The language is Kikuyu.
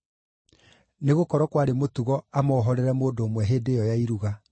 Nĩgũkorwo, kwarĩ mũtugo amohorere mũndũ ũmwe hĩndĩ ĩyo ya Iruga.)